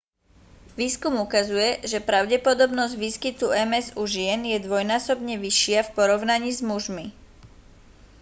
výskum ukazuje že pravdepodobnosť výskytu ms u žien je dvojnásobne vyššia v porovnaní s mužmi